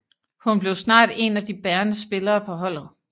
Hun blev snart en af de bærende spillere på holdet